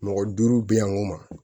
Mɔgɔ duuru bɛ yan ko ma